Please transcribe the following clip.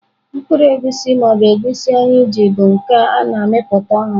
Mkpụrụ egusi ma ọ bụ Egusi anyị ji bụ nke a na-amịpụta ọhụrụ.